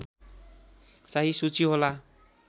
चाहिँ सूची होला